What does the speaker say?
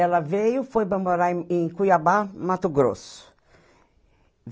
Ela veio, foi para morar em em Cuiabá, Mato Grosso.